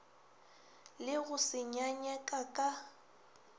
le go se nyanyeka ka